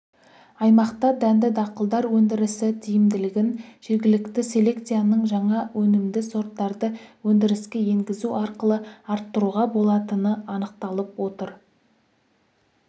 аймақта дәнді дақылдар өндірісі тиімділігін жергілікті селекцияның жаңа өнімді сорттарды өндіріске енгізу арқылы арттыруға болатыны анықталып отыр